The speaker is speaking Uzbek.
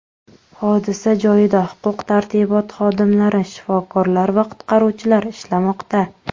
Hodisa joyida huquq-tartibot xodimlari, shifokorlar va qutqaruvchilar ishlamoqda.